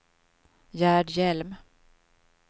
Gerd Hjelm